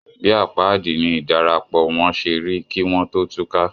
Bí àpáàdì ni ìdarapọ̀ wón ṣe rí kí wọ́n tó túká.